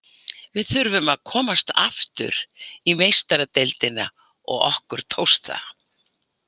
Við þurftum að komast aftur í Meistaradeildina og okkur tókst það.